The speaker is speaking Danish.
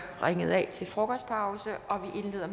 ringet af til frokostpause og